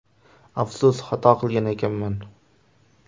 Afsus, xato qilgan ekanman.